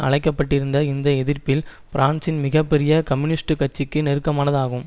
அழைக்க பட்டிருந்த இந்த எதிர்ப்பில் பிரான்சின் மிக பெரிய கம்யூனிஸ்ட் கட்சிக்கு நெருக்கமானது ஆகும்